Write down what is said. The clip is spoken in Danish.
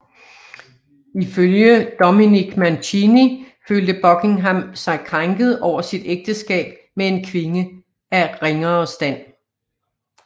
Ifølge Dominic Mancini følte Buckingham sig krænket over sit ægteskab med en kvinde af ringere stand